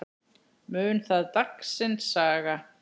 Mun það dagsins saga.